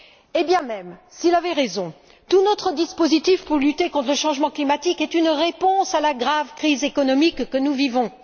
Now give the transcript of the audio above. Eh bien, même s'il avait raison, tout notre dispositif pour lutter contre le changement climatique est une réponse à la grave crise économique que nous vivons.